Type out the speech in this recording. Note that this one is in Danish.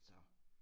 Så